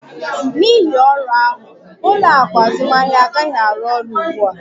N'ihi ọrụ ahụ, ụlọ akụ azụmahịa anaghị arụ ọrụ ugbu a